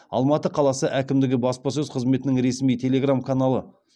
алматы қаласы әкімдігі баспасөз қызметінің ресми телеграм каналы